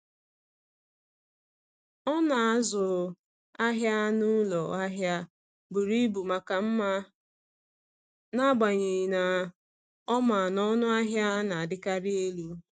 Ọ na-azụ ahịa n’ụlọ ahịa buru ibu maka mma, n’agbanyeghị na ọ ma na ọnụ ahịa na-adịkarị elu.